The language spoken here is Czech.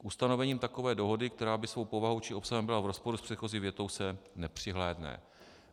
K ustanovením takové dohody, která by svou povahou či obsahem byla v rozporu s předchozí větou, se nepřihlédne.